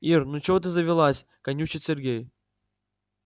ир ну чего ты завелась канючит сергей